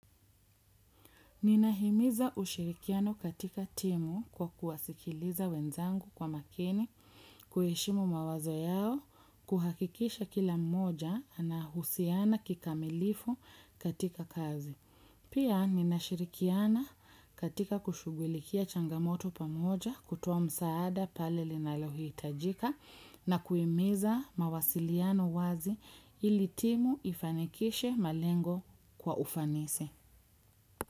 Ninahimiza ushirikiano katika timu kwa kuwasikiliza wenzangu kwa makini, kuheshimu mawazo yao, kuhakikisha kila mmoja anahusiana kikamilifu katika kazi. Pia ninashirikiana katika kushugulikia changamoto pamoja kutoa msaada pale linalohitajika na kuhimiza mawasiliano wazi ili timu ifanikishe malengo kwa ufanisi.